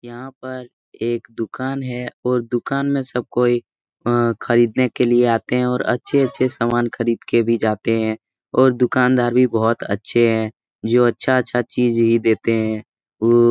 यहाँ पर एक दुकान है और दुकान में सब कोई अ खरदीने के लिए आते है और अच्छे-अच्छे सामान खरीद के भी जाते है और दुकानदार भी बहोत अच्छे हैं जो अच्छा-अच्छा चीज ही देते हैं वो --